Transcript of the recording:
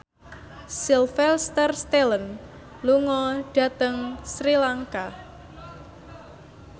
Sylvester Stallone lunga dhateng Sri Lanka